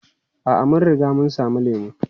A'a, mun riga mun sami lemu.